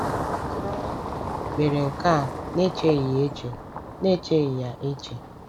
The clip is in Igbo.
Hà mere nke a n’echeghị ya eche n’echeghị ya eche?